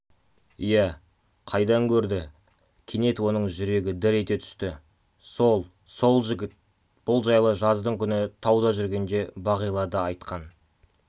иә қайдан көрді кенет оның жүрегі дір ете түсті сол сол жігіт бұл жайлы жаздың күні тауда жүргенде бағила да айтқан